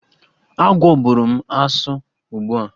Agwọ bụrụ m asụ ugbu a!